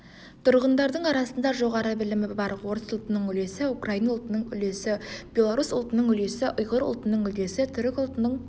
тұрғындардың арасында жоғары білімі бар орыс ұлтының үлесі украин ұлтының үлесі белорус ұлтының үлесі ұйғыр ұлтының үлесі түрік ұлтының